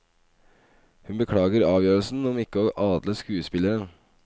Hun beklager avgjørelsen om ikke å adle skuespilleren.